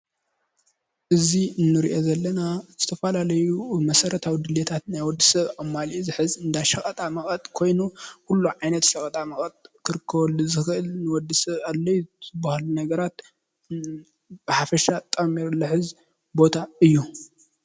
እዚ እንሪኦ ዘለና ዝተፈላለዩ መሰረታዊ ድልየታት ናይ ወዲ ሰብ ኣማሊኡ ዝሕዝ እንዳሸቐጣመቐጥ ኮይኑ ኩሉ ዓይነት ሸቐጣመቀጥ ክርከበሉ ዝኽእል ንወዲ ሰብ ኣድላይ ዝባሃሉ ነገራት ብሓፈሻ ጠሚሩ ልሕዝ ቦታ እዩ፡፡